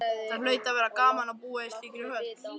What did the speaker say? Það hlaut að vera gaman að búa í slíkri höll.